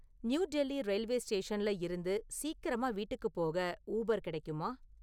New Delhi railway ஸ்டேஷன்ல இருந்து சீக்கிரமா வீட்டுக்குப் போக ஊபர் கிடைக்குமா?